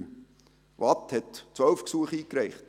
Der Kanton Waadt hat 12 Gesuche eingereicht;